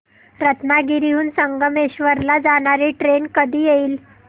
रत्नागिरी हून संगमेश्वर ला जाणारी ट्रेन कधी येईल